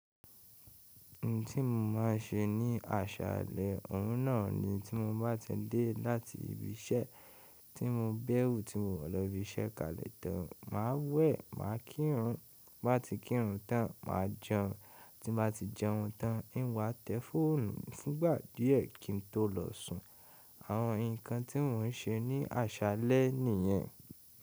Oun tí mo máa ń ṣe ní aṣàlẹ̀ ọ̀ún náà ni tí mo bá ti dé láti ibi iṣẹ́ tí mo bẹ̀rù, tí mo wọ̀ lọ ibi iṣẹ́ kalẹ̀ tán, màá wẹ̀, màá kírun, báti kírun tán, màá jẹun, tí mo bá ti jẹun tán, n o wá tẹ fóònù fúngbà díẹ̀ kí n tó lọ sùn. Àwọn ǹkan tí n o n ṣe ní aṣàlẹ̀ nìyẹn.